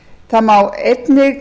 það má einnig